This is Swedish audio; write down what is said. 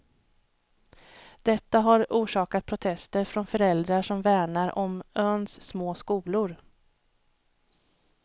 Detta har orsakat protester från föräldrar som värnar om öns små skolor.